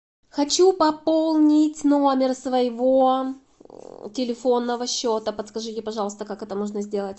хочу пополнить номер своего телефонного счета подскажите пожалуйста как это можно сделать